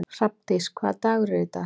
Hrafndís, hvaða dagur er í dag?